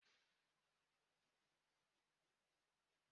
Gịnị bụ njirimara ezinụlọ ha?